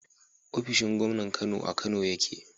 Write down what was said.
ofishin Gomnan Kano a Kano yake